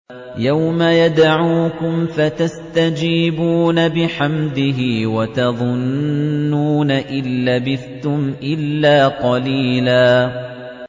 يَوْمَ يَدْعُوكُمْ فَتَسْتَجِيبُونَ بِحَمْدِهِ وَتَظُنُّونَ إِن لَّبِثْتُمْ إِلَّا قَلِيلًا